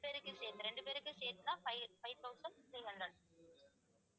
இரண்டு பேருக்கும் சேர்ந்து இரண்டு பேருக்கும் சேர்த்துதான் five five thousand three hundred